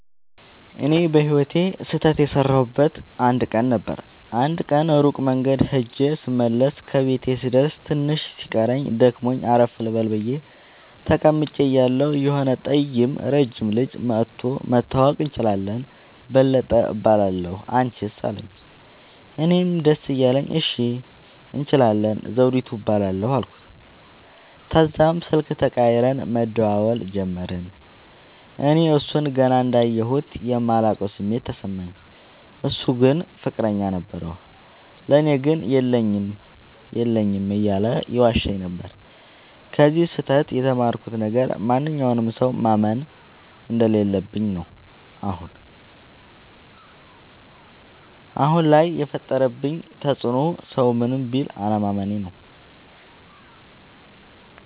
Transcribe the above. እኔ በህይወቴ ስህተት የሠረውበት አንድ ቀን ነበር። አንድ ቀን ሩቅ መንገድ ኸጀ ስመለስ ከቤቴ ልደርስ ትንሽ ሲቀረኝ ደክሞኝ አረፍ ልበል ብየ ተቀምጨ እያለሁ የሆነ ጠይም ረጅም ልጅ መኧቶ<< መተዋወቅ እንችላለን በለጠ እባላለሁ አንችስ አለኝ>> አለኝ። እኔም ደስ እያለኝ እሺ እንችላለን ዘዉዲቱ እባላለሁ አልኩት። ተዛም ስልክ ተቀያይረን መደዋወል ጀመርን። እኔ እሡን ገና እንዳየሁት የማላቀዉ ስሜት ተሰማኝ። እሡ ግን ፍቅረኛ ነበረዉ። ለኔ ግን የለኝም የለኝም እያለ ይዋሸኝ ነበር። ከዚ ስህተ ት የተማርኩት ነገር ማንኛዉንም ሠዉ ማመን እንደለለብኝ ነዉ። አሁን ላይ የፈጠረብኝ ተፅዕኖ ሠዉን ምንም ቢል አለማመኔ ነዉ።